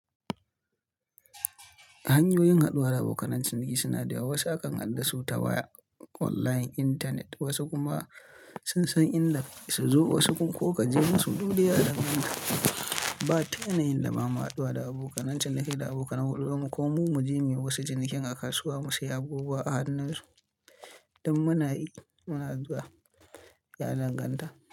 Hanyoyin haɗuwa da abokanan ciniki suna da yawa, wasu akan haɗu dasu ta waya, online, intanet, wasu kuma sun san inda kake su zo, wasu kuma ko ka je musu duk dai ya danganta. Ba ta yanayin da bama haɗuwa da abokanan ciniki da abokanan hulɗar mu, ko mu muje muyi musu cinikin a kasuwa, mu sayi abubuwa a hannun su don munayi, muna zuwa, ya danganta.